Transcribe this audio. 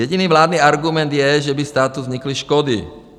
Jediný vládní argument je, že by státu vznikly škody.